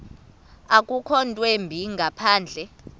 akukho ntwimbi ngaphandle